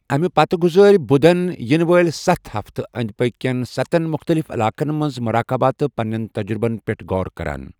اَمہِ پتہٕ گُزٲرۍ بُدھَن یِنہٕ وٲلۍ سَتھ ہفتہٕ أنٛدۍ پٔکھۍ کٮ۪ن سَتَن مُختلِف علاقَن منٛز مراقبہ تہٕ پنِنٮ۪ن تجرُبَن پٮ۪ٹھ غور کران۔